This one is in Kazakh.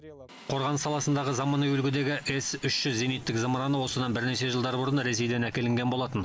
қорғаныс саласындағы заманауи үлгідегі с үш жүз зениттік зымыраны осыдан бірнеше жылдар бұрын ресейдін әкелінген болатын